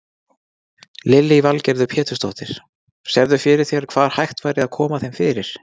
Lillý Valgerður Pétursdóttir: Sérðu fyrir þér hvar hægt væri að koma þeim fyrir?